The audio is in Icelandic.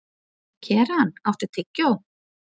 Keran, áttu tyggjó?